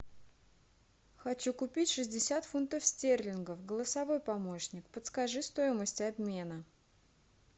хочу купить шестьдесят фунтов стерлингов голосовой помощник подскажи стоимость обмена